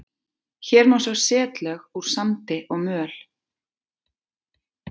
Hér má sjá setlög úr sandi og möl.